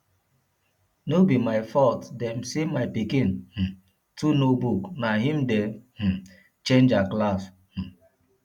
no be my fault dem say my pikin um too know book na im dey um change her class um